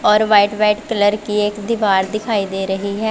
और white white colour की एक दीवार दिखाई दे रही हैं।